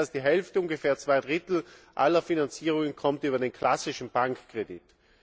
Weit mehr als die Hälfte, ungefähr zwei Drittel aller Finanzierungen, kommt über den klassischen Bankkredit.